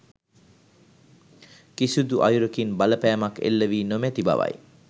කිසිදු අයුරකින් බලපෑමක් එල්ල වී නොමැති බවයි